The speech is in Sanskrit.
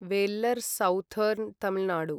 वेल्लर् साउथर्न् तमिल् नाडु